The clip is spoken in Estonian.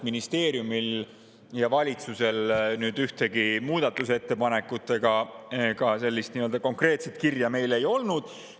Ministeeriumil ega valitsusel ühtegi muudatusettepanekut ega ka sellist nii-öelda konkreetset kirja meile ei olnud.